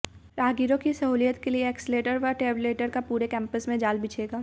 राहगीरों की सहूलियत के लिए एस्कलेटर व ट्रेवलेटर का पूरे कैंपस में जाल बिछेगा